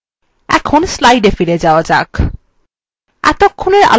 এখন slides এ ফিরে যাওয়া যাক